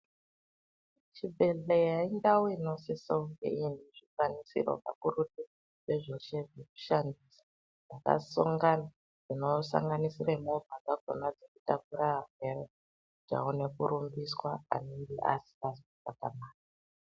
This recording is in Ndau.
Chi bhedhleya indau inosisa kunge ine zvi kwanisiro kakurutu ne zveshe zveku shandisa zvaka songona zvino sanganisire movha dzakona dzeku takure arwere kuti aone kurumbiswa anenge asingazi kuzwa zvakananaka.